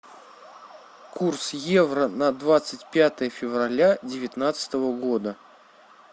курс евро на двадцать пятое февраля девятнадцатого года